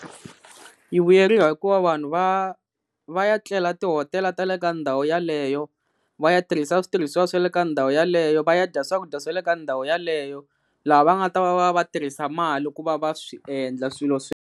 Yi vuyeriwa hikuva vanhu va va ya tlela tihotela ta le ka ndhawu yeleyo, va ya tirhisa switirhisiwa swa le ka ndhawu yeleyo, va ya dya swakudya swa le ka ndhawu yaleyo laha va nga ta va va tirhisa mali ku va va swi endla swilo .